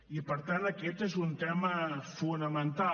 i per tant aquest és un tema fonamental